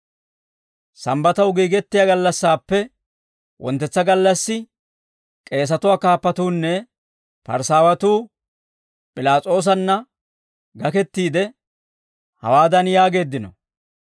Sambbataw giigettiyaa gallassaappe wonttetsa gallassi, k'eesatuwaa kaappatuunne Parisaawatuu P'ilaas'oosanna gakettiide, hawaadan yaageeddino;